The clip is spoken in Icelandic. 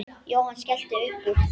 Jóhann skellti upp úr.